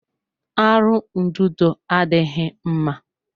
Arụ ududo adịghị mma.